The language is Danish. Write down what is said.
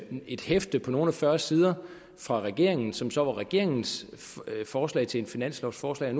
et hæfte på nogle og fyrre sider fra regeringen som så er regeringens forslag til et finanslovforslag og